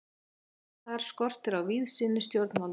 Þar skortir á víðsýni stjórnvalda.